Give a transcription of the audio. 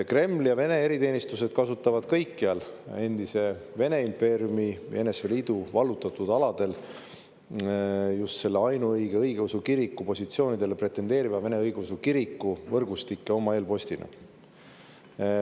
Kreml ja Vene eriteenistused kasutavad kõikjal endise Vene impeeriumi ja NSV Liidu vallutatud aladel just selle ainuõige õigeusu kiriku positsioonile pretendeeriva Vene Õigeusu Kiriku võrgustikke oma eelpostina.